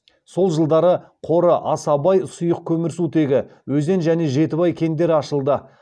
сол жылдары қоры аса бай сұйық көмірсутегі өзен және жетібай кендері ашылды